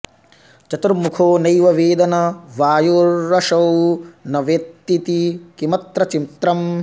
चतुर्मुखो नैव वेद न वायुरसौ न वेत्तीति किमत्र चित्रम्